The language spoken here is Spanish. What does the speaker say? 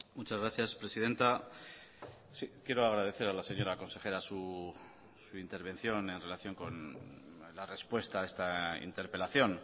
muchas gracias presidenta quiero agradecer a la señora consejera su intervención en relación con la respuesta a esta interpelación